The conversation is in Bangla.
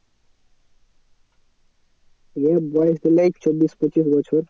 ছেলের বয়েস ধরেনে এই চব্বিশ পঁচিশ বছর।